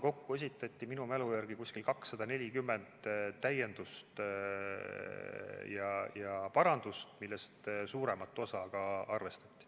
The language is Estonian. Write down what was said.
Kokku esitati minu mälu järgi 240 täiendust ja parandust, millest suuremat osa ka arvestati.